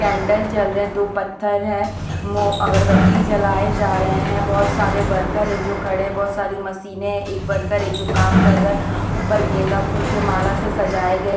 Candle जल रहे दो पत्थर हैं मो अगरबत्ती जलाए जा रहे हैं बहुत सारे वर्कर है जो खड़े बहुत सारी मशीनें हैं एक वर्कर है जो काम कर रहा है ऊपर गेंदा फूल के माला से सजाया गया।